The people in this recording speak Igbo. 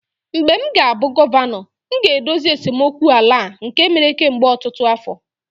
mgbe m ga-abụ gọvanọ, m ga-edozi esemokwu ala a nke mere kemgbe ọtụtụ afọ